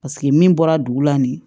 Paseke min bɔra dugu la nin